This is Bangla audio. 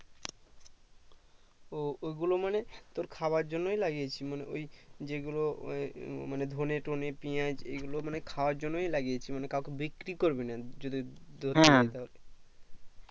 ওঃ ও গুলো মানের তোর খাবার জন্য লাগিয়েছিস মানে ওই যেগুলো ওই মানে ধনে টনে পিঁয়াজ এগুলো মানে খাবার জন্য লাগিয়েছি মানে কাউকে বিক্রি করবিনা যদি ধরতে যাই তাহলে হম